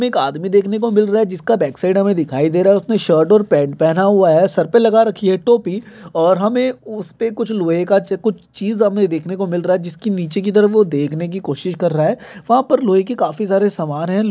एक आदमी देखने को मिल रहा हैं जिसका बैकसाइड हमे दिखाई दे रहा हैं उसने शर्ट और पैंट पहना हुआ हैं सर पर लगा रखी हैं टोपी और हमें उस पर कुछ लोहे का कुछ चीज हमें देखने को मिल रहा हैं जिसकी नीचे की तरफ वह देखने की कोशिश कर रहा हैं वहाँ पर लोहे की काफी सारे सामान हैं।